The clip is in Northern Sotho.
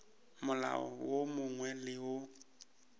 molao wo mongwe le wo